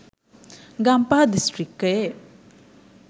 ගම්පහ දිස්‌ත්‍රික්‌කයේ